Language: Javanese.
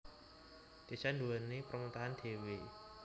Désa nduwèni pemerintahan dhéwé